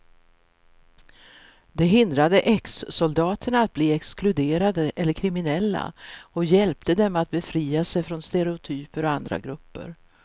Det hindrade exsoldaterna att bli exkluderade eller kriminella och hjälpte dem att befria sig från stereotyper om andra grupper.